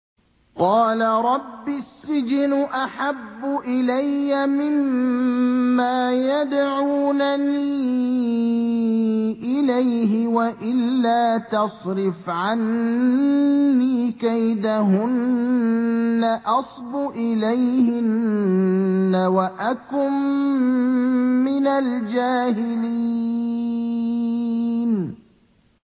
قَالَ رَبِّ السِّجْنُ أَحَبُّ إِلَيَّ مِمَّا يَدْعُونَنِي إِلَيْهِ ۖ وَإِلَّا تَصْرِفْ عَنِّي كَيْدَهُنَّ أَصْبُ إِلَيْهِنَّ وَأَكُن مِّنَ الْجَاهِلِينَ